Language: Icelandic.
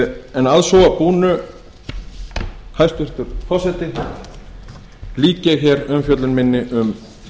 en að svo búnu hæstvirtur forseti lýk ég umfjöllun minni um